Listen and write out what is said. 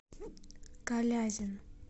калязин